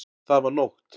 Það var nótt.